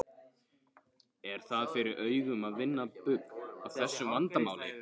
Er það fyrir augum að vinna bug á þessu vandamáli?